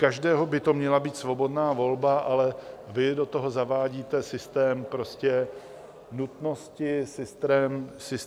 Každého by to měla být svobodná volba, ale vy do toho zavádíte systém nutnosti, systém, že musí.